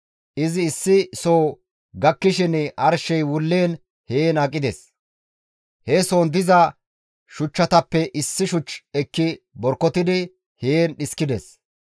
Izi issi soo gakkishin arshey wulliin heen aqides; he soon diza shuchchatappe issi shuch ekki borkotidi heen dhiskides.